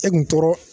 E kun tora